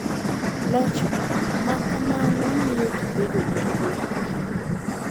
Loch ma kamano miyo ji bedo gi luor e kindgi